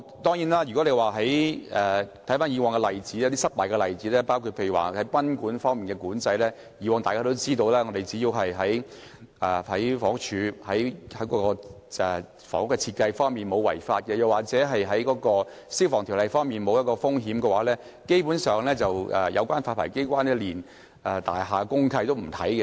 當然，我們看看以往的失敗例子，包括賓館發牌方面，以往只要大廈符合房屋署的要求，在房屋設計方面沒有違法，或《消防條例》方面沒有風險，有關發牌機關基本上連大廈公契都會不查看。